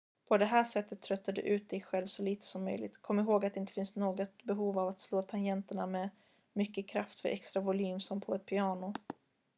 på det här sättet tröttar du ut dig själv så lite som möjligt kom ihåg att det inte finns något behov av att slå tangenterna med mycket kraft för extra volym som på ett piano